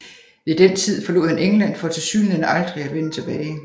Ved den tid forlod han England for tilsyneladende aldrig at vende tilbage